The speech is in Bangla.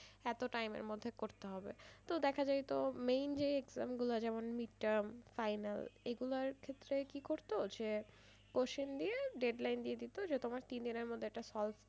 এতো time এর মধ্যে করতে হবে তো দেখা যায় তো main যে exam গুলা যেমন mid-term final এইগুলার ক্ষেত্রে কি করতো যে question দিয়ে deadline দিয়ে দিত যে তোমার তিন দিনের মধ্যে solve